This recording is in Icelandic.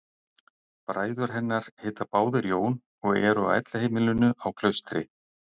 Bræður hennar heita báðir Jón og eru á elliheimilinu á Klaustri.